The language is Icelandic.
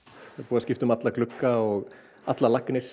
það er búið að skipta um alla glugga og allar lagnir